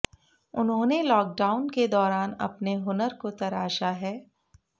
उन्होंने लॉकडाउन के दौरान अपने हुन्नर को तराशा है